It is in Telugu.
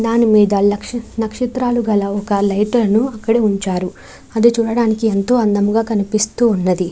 దాని మీద నక్షత్రాలు గల ఒక లైట్ అక్కడ ఉంచారు. ఆది చూడడానికి ఎంతో అందముగా కనిపిస్తూ ఉన్నది.